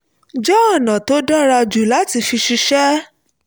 jẹ́ ọ̀nà tó dára jù láti fi ṣiṣẹ́